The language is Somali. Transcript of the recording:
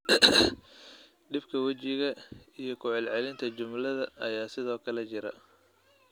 Dhibka wejiga iyo ku celcelinta jumlada ayaa sidoo kale jira.